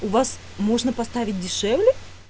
у вас можно поставить дешевле